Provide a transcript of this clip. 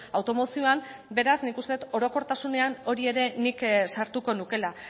automozioan beraz nik uste dut orokortasunean hori ere nik sartuko nukeela